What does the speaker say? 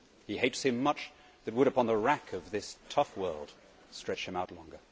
He hates him much that would upon the rack of this tough world stretch him out longer'.